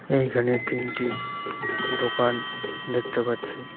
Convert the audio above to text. এইখানে তিনটি দোকান দেখতে পাচ্ছি।